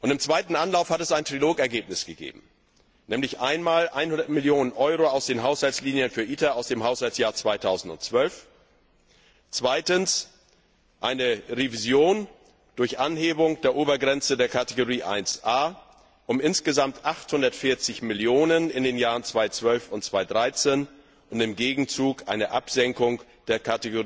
Im zweiten Anlauf hat es ein Trilogergebnis gegeben, nämlich einmal 100 Millionen EUR aus den Haushaltslinien für ITER aus dem Haushaltsjahr 2012, zweitens eine Revision durch Anhebung der Obergrenze der Rubrik 1a um insgesamt 840 Millionen in den Jahren 2012 und 2013 und im Gegenzug eine Absenkung der